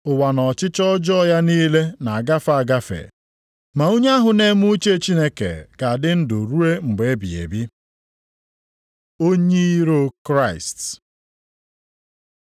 Ụwa na ọchịchọ ọjọọ ya niile na-agafe agafe, ma onye ahụ na-eme uche Chineke ga-adị ndụ ruo mgbe ebighị ebi. Onye iro Kraịst